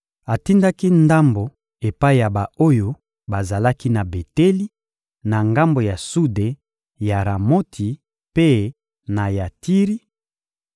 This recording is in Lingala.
Atindaki ndambo epai ya ba-oyo bazalaki na Beteli, na ngambo ya sude ya Ramoti mpe na Yatiri;